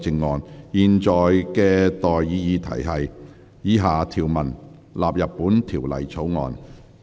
我現在向各位提出的待議議題是：以下條文納入本條例草案。